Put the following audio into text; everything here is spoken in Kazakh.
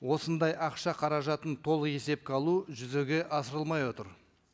осындай ақша қаражатын толық есепке алу жүзеге асырылмай жатыр